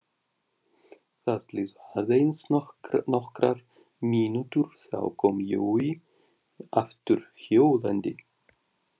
Það liðu aðeins nokkrar mínútur, þá kom Jói aftur hjólandi.